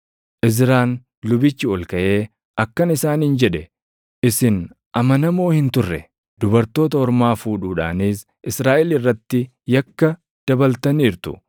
Izraan lubichi ol kaʼee akkana isaaniin jedhe; “Isin amanamoo hin turre; dubartoota ormaa fuudhuudhaanis Israaʼel irratti yakka dabaltaniirtu.